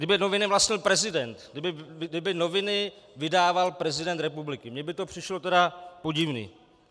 Kdyby noviny vlastnil prezident - kdyby noviny vydával prezident republiky, mně by to přišlo tedy podivné.